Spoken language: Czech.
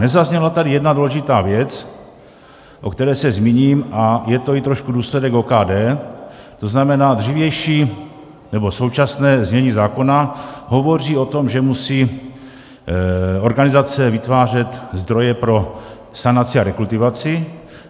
Nezazněla tady jedna důležitá věc, o které se zmíním, a je to i trošku důsledek OKD, to znamená, dřívější nebo současné znění zákona hovoří o tom, že musí organizace vytvářet zdroje pro sanaci a rekultivaci.